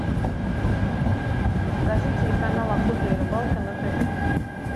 покажи телеканал охота и рыбалка на тв